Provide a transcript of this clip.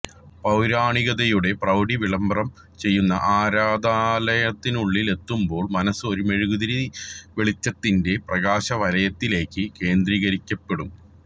പൌരാണികതയുടെ പ്രൌഢി വിളംബരം ചെയ്യുന്ന ആരാധനാലയത്തിനുള്ളിലെത്തുമ്പോൾ മനസ്സ് ഒരു മെഴുകുതിരിവെളിച്ചത്തിന്റെ പ്രകാശവലയത്തിലേക്ക് കേന്ദ്രീകരിക്കപ്പെടും